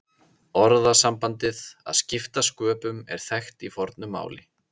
Orðasambandið að skipta sköpum er þekkt í fornu máli.